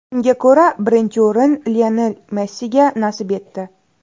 Unga ko‘ra, birinchi o‘rin Lionel Messiga nasib etdi.